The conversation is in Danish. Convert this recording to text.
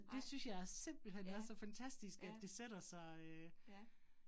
Nej, ja, ja, ja